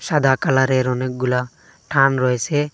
সাদা কলারের অনেকগুলা ঠান রয়েসে।